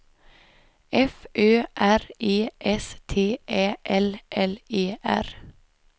F Ö R E S T Ä L L E R